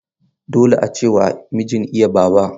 Dole ace wa mijin iya baba.